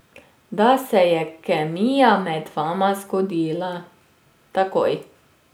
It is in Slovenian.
Da se je kemija med vama zgodila takoj.